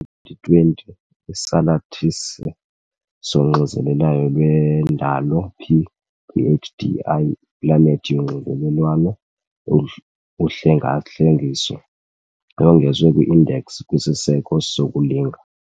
Kwi-2020, isalathisi soxinzelelwano lwendalo P PHDI, iPlanethi yoxinzelelwano-uhlengahlengiso yongezwe kwi-Index kwisiseko sokulinga.